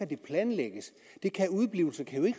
det planlægges udeblivelser kan jo